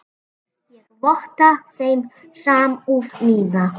Ég votta þeim samúð mína.